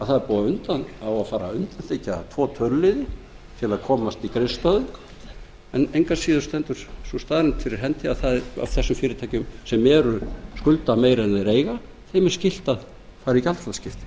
það á að fara að undanþiggja tvo töluliði til að komast í greiðslustöðvun en engu að síður stendur þessi staðreynd fyrir hendi að það er af þessum fyrirtækjum sem skulda meira en þau eiga þeim er skylt að fara í gjaldþrotaskipti það